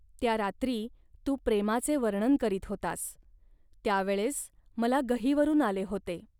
त्या रात्री तू प्रेमाचे वर्णन करीत होतास. त्या वेळेस मला गहिवरून आले होते